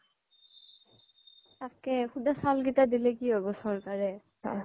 তাকে শুদা চাউল কিটা দিলে কি হ'ব চৰকাৰে